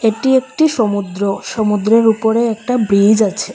এটি একটি সমুদ্র সমুদ্রের উপরে একটা ব্রীজ আছে।